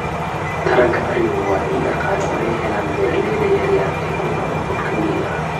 Taranka arigu waa il dhaqaale oo ay helaan beeralayda yar yar ee ku nool dhulka miyiga ah.